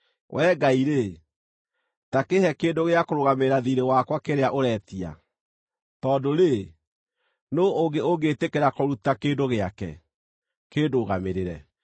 “Wee Ngai-rĩ, ta kĩĩhe kĩndũ gĩa kũrũgamĩrĩra thiirĩ wakwa kĩrĩa ũretia, tondũ-rĩ, nũũ ũngĩ ũngĩĩtĩkĩra kũruta kĩndũ gĩake kĩĩndũgamĩrĩre?